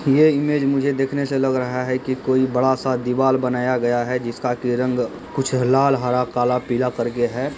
ये इमेज मुझे देखने से लग रहा है कि कोई बड़ा सा दीवाल बनाया गया है जिसका की रंग कुछ लाल हरा काला पीला कर के है।